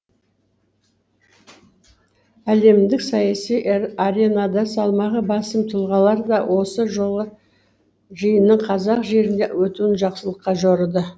әлемдік саяси аренада салмағы басым тұлғалар да осы жолғы жиынның қазақ жерінде өтуін жақсылыққа жорыды